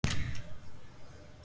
Hvorki þá né nú.